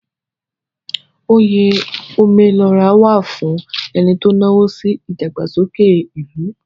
Oyè Ome lo ra wà fún ẹni tó náwó sí ìdàgbàsókè ìlú.